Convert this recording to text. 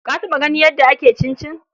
Ka taɓa ganin yadda ake cincin?